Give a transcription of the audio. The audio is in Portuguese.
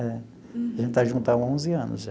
A gente está junto há onze anos já.